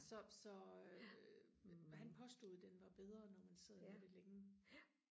så så øh han påstod den var bedre når man sad med det længe